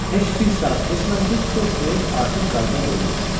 Heç bir saat keçmədi ki, dörd meyit artıq qayığa qoyulmuşdu.